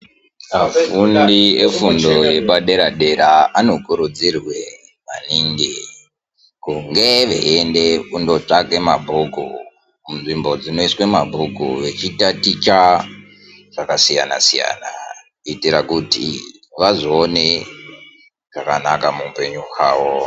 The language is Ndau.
Afundi efundo yepadere-dera anokurudzirwe maningi kunge veienda kundotsvaka mabhuku kunzvimbo dzinoiswe mabhuku vechitaticha zvakasiyana-siyana kuitira kiti vazoone zvakanaka muupenyu hwavo.